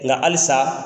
Nka halisa